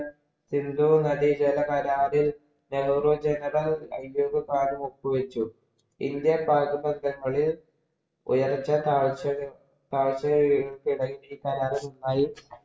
സിന്ധുനദീജലകരാറില്‍ നെഹ്രു ഒപ്പുവെച്ചു. ഇന്ത്യൻ പാക് ബന്ധങ്ങളിൽ ഉയർച്ചതാഴ്ച